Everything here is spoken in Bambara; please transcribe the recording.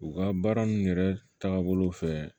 U ka baara nun yɛrɛ taabolo fɛ